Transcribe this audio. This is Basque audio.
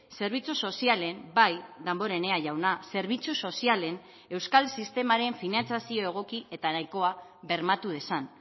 zerbitzu sozialen bai damborenea jauna zerbitzu sozialen euskal sistemaren finantzazio egoki eta nahikoa bermatu dezan